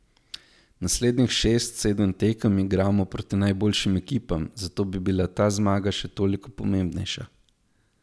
Naslednjih šest, sedem tekem igramo proti najboljšim ekipam, zato bi bila ta zmaga še toliko pomembnejša.